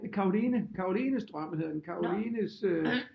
Caroline Carolines drøm hedder den Carolines øh